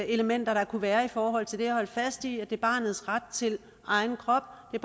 elementer der kunne være i forhold til det og holde fast i at det er barnets ret til egen krop at